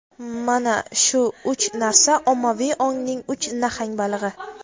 Mana shu uch narsa - ommaviy ongning uch nahang balig‘i.